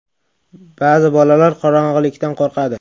Ba’zi bolalar qorong‘ilikdan qo‘rqadi.